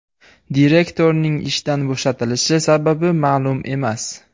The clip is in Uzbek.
Direktorning ishdan bo‘shatilishi sababi ma’lum emas.